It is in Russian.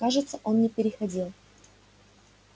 кажется он не переходил